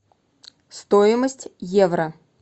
стоимость евро